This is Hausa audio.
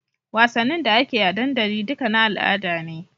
Wassanin da akeyi a dandali duka na al'ada ne